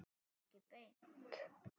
Ekki beint.